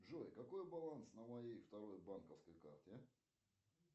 джой какой баланс на моей второй банковской карте